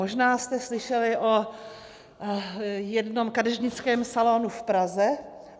Možná jste slyšeli o jednom kadeřnickém salonu v Praze.